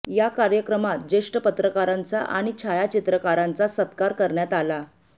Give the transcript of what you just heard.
या कार्यक्रमात ज्येष्ठ पत्रकारांचा आणि छायाचित्रकारांचा सत्कार करण्यात आला